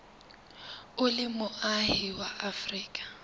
o le moahi wa afrika